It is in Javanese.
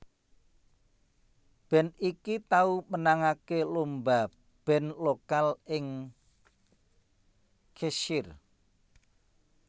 Band iki tau menangake lomba band lokal ing Cheshirre